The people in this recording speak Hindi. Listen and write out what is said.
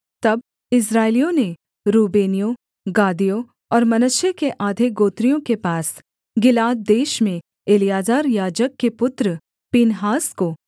तब इस्राएलियों ने रूबेनियों गादियों और मनश्शे के आधे गोत्रियों के पास गिलाद देश में एलीआजर याजक के पुत्र पीनहास को